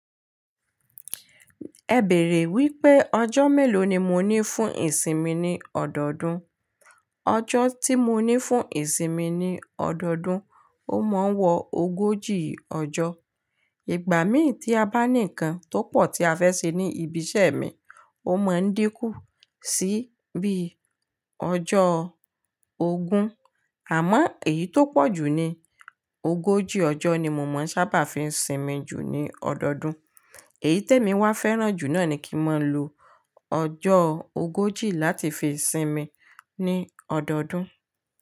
Ẹ bèrè wípé ọjọ́ mélòó ni mo ní fún ìsinmi ní ọdọọdún. Ọjọ́ tí mo ní fún ìsinmi ní ọdọọdún, ó mọ n wọ ogójì ọjọ́. Ìgbà mí tí a bá ní ǹkan tó pọ̀ tí a fẹ́ ṣe ní ibi iṣẹ́ mi, ó mọ ń dínkù sí bí ọjọ́ ogún. Àmọ́ èyí tó pọ̀jù ni ogójì ọjọ́ ni mo máa ń sábà fi ń sinmi jù ní ọdọọdún. Èyí tèmi wa fẹ́ràn jù náà ni kí n máa lo ọjọ́ ogójì láti fi sinmi ní ọdọọdún.